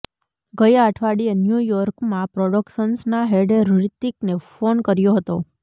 ગયા અઠવાડિયે ન્યુ યોર્કમાં પ્રોડક્શન્સના હેડે હૃતિકને ફોન કર્યો હતો